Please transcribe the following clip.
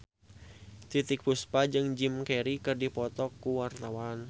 Titiek Puspa jeung Jim Carey keur dipoto ku wartawan